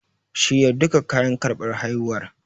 Shirya duka kayan karɓar haihuwar.